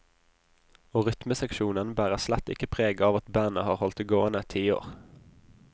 Og rytmeseksjonen bærer slett ikke preg av at bandet har holdt det gående et tiår.